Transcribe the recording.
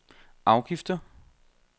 afgifter